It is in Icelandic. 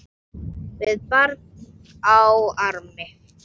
Með barn á armi?